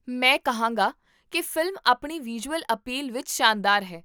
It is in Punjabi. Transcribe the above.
ਮੈਂ ਕਹਾਂਗਾ ਕੀ ਫ਼ਿਲਮ ਆਪਣੀ ਵਿਜ਼ੂਅਲ ਅਪੀਲ ਵਿੱਚ ਸ਼ਾਨਦਾਰ ਹੈ